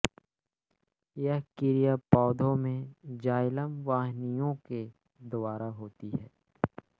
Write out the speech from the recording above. यह क्रिया पौधों में जाइलम वाहिनियों के द्वारा होती है